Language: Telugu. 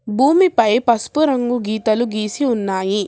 భూమిపై పసుపు రంగు గీతలు గీసి ఉన్నాయి.